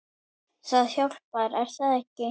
Það hjálpar er það ekki?